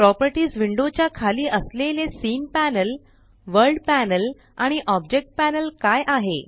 properties window च्या खाली असलेले सीन पॅनल वर्ल्ड पॅनल आणि ऑब्जेक्ट पॅनल काय आहे